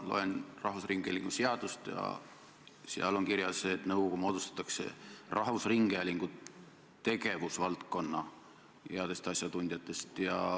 Ma loen Eesti Rahvusringhäälingu seadust ja seal on kirjas, et nõukogu moodustatakse rahvusringhäälingu tegevusvaldkonna headest asjatundjatest.